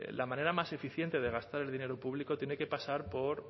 la manera más eficiente de gastar el dinero público tiene que pasar por